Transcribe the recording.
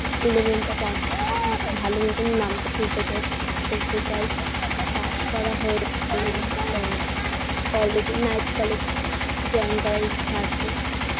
eleven -টা pass উম ভাল মতোন number তুলতে চাই pass করতে চাই pass করা হয়ে গেলে তো college -এ night college join করার ইচ্ছা আছে